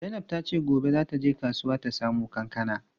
Zainab tace gobe za ta je kasuwa ta samo kankana.